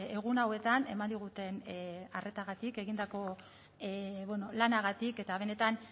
egun hauetan eman diguten arretagatik egindako lanagatik eta benetan